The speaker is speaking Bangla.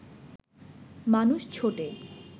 মানুষ ছোটে